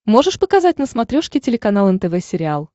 можешь показать на смотрешке телеканал нтв сериал